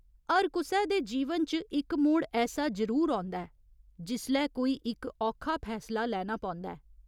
हर कुसै दे जीवन च इक मोड़ ऐसा जरूर औंदा ऐ जिसलै कोई इक औखा फैसला लैना पौंदा ऐ।